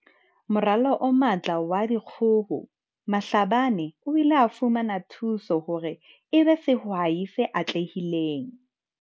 Moralo o Matla wa Dikgoho Mhlabane o ile a fumana thuso hore e be sehwai se atlehileng.